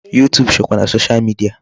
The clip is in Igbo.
YouTube sokwa na social media.